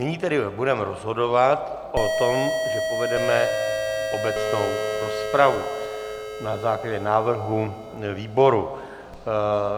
Nyní tedy budeme rozhodovat o tom, že povedeme obecnou rozpravu na základě návrhu výboru.